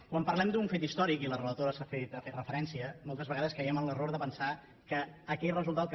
quan parlem d’un fet històric i la relatora hi ha fet referència moltes vegades caiem en l’error de pensar que aquell resultat que